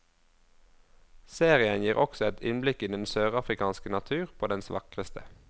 Serien gir også et innblikk i den sørafrikanske natur på dens vakreste.